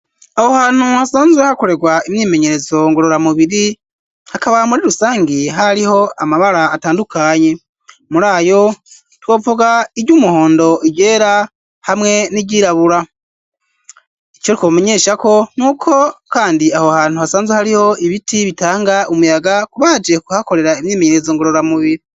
Aho hantu hasanzwe hakorerwa imyimenyerezo ngorora mubiri, hakaba muri rusangi hariho amabara atandukanye. Muri ayo twovuga: iry'umuhondo, iryera hamwe n'iryirabura. Ico twomenyesha ko, ni uko kandi aho hantu hasanzwe hariho ibiti bitanga umuyaga kubaje kuhakorera imyimenyerezo ngorora mubiri.